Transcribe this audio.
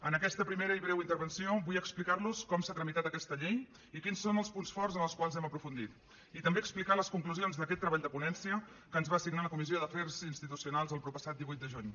en aquesta primera i breu intervenció vull explicar los com s’ha tramitat aquesta llei i quins són els punts forts en els quals hem aprofundit i també explicar les conclusions d’aquest treball de ponència que ens va assignar la comissió d’afers institucionals el proppassat divuit de juny